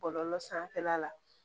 Bɔlɔlɔ sanfɛla la